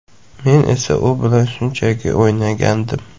Men esa u bilan shunchaki o‘ynagandim.